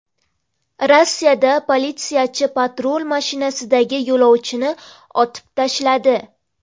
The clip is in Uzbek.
Rossiyada politsiyachi patrul mashinasidagi yo‘lovchini otib tashladi.